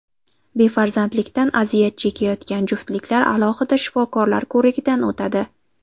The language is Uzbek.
Befarzandlikdan aziyat chekayotgan juftliklar alohida shifokorlar ko‘rigidan o‘tadi.